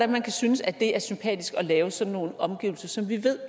man kan synes at det er sympatisk at lave sådan nogle omgivelser som vi ved